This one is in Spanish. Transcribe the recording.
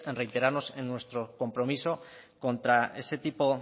reiterarnos en nuestro compromiso contra ese tipo